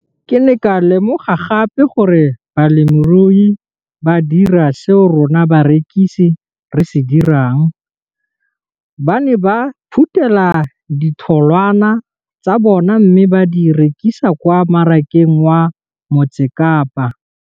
Ke ne ka lemoga gape gore balemirui ba dira seo rona barekisi re se dirang, ba ne ba phuthela ditholwana tsa bona mme ba di rekisa kwa marakeng wa Motsekapa.